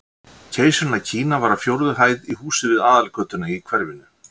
Keisarinn af Kína var á fjórðu hæð í húsi við aðalgötuna í hverfinu.